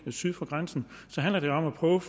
syd for grænsen så handler det om at prøve